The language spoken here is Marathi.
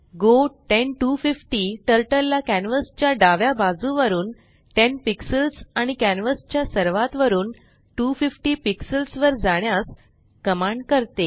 गो 10250 Turtleला कॅन्वस च्या डाव्या बाजुवरून 10 पिक्सेल्स आणि कॅन्वस च्या सर्वात वरुन 250 पिक्सेल्स वर जाण्यास कमांड करते